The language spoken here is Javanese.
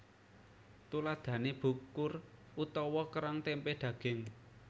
Tuladhané bukur utawa kerang tempé daging